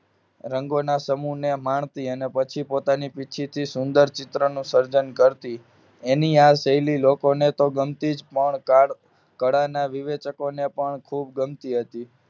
રંગોના સમૂહને માણતી પછી પોતાની પછીથી સુંદર ચિત્ર નું સર્જન કરતી એની આ શૈલી લોકોને તો ગમતી જ કાર્ડ કઢા ના વિવિધકો ને પણ ખૂબ ગમતી હતી